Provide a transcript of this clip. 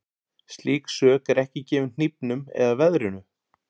Slík sök er ekki gefin hnífnum eða veðrinu.